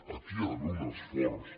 aquí hi ha d’haver un esforç